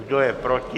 Kdo je proti?